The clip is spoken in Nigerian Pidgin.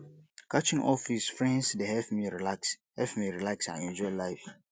catching up with friends dey help me relax help me relax and enjoy life